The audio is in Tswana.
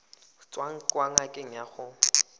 tswang kwa ngakeng ya gago